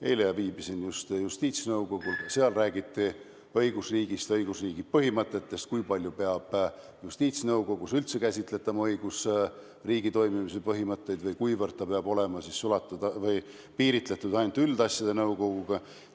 Eile viibisin justiitsnõukogul, ka seal räägiti õigusriigist ja õigusriigi põhimõtetest, sellest, kui palju peab justiitsnõukogus üldse käsitletama õigusriigi toimimise põhimõtteid või kuivõrd see peab olema piiritletud ainult üldasjade nõukoguga.